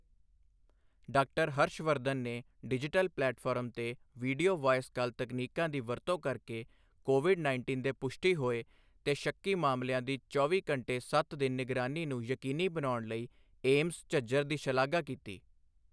Doctor Harsh Vardhan ਨੇ digital platform ਤੇ video voice call ਤਕਨੀਕਾਂ ਦੀ ਵਰਤੋਂ ਕਰ ਕੇ ਕੋਵਿਡ ਉੱਨੀ ਦੇ ਪੁਸ਼ਟੀ ਹੋਏ ਤੇ ਸ਼ੱਕੀ ਮਾਮਲਿਆਂ ਦੀ ਚੌਵੀ ਘੰਟੇ ਸੱਤ ਦਿਨ ਨਿਗਰਾਨੀ ਨੂੰ ਯਕੀਨੀ ਬਣਾਉਣ ਲਈ ਏਮਸ, ਝੱਜਰ ਦੀ ਸ਼ਲਾਘਾ ਕੀਤੀ।